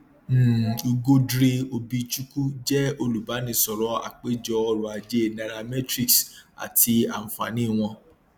um ugodre obichukwu jẹ olùbánisọrọ apèjọ ọrọajé nairametrics àti ànfààní wọn